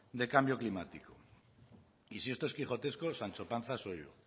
del cambio climático y si esto es quijotesco sancho panza soy yo